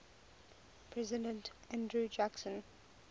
president andrew jackson